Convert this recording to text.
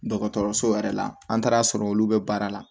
Dɔgɔtɔrɔso yɛrɛ la an taara sɔrɔ olu bɛ baara la